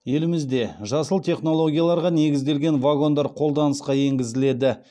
елімізде жасыл технологияларға негізделген вагондар қолданысқа енгізіледі